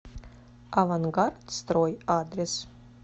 авангард строй адрес